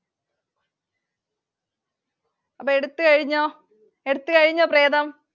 അപ്പൊ എടുത്തു കഴിഞ്ഞോ? എടുത്തു കഴിഞ്ഞോ